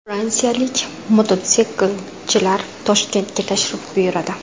Fransiyalik mototsiklchilar Toshkentga tashrif buyuradi.